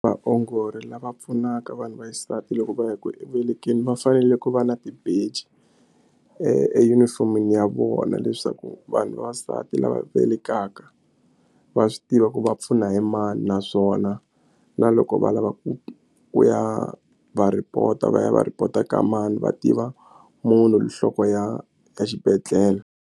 Vaongori lava pfunaka vanhu va xisati loko va ya ku velekeni va fanele ku va na tibeji e e uniform-ini ya vona leswaku vanhu vavasati lava vekaka va swi tiva ku va pfuna hi mani naswona na loko va lava ku ku ya va report-a va ya va report-a ka mani va tiva munhu nhloko ya ya exibedhlele.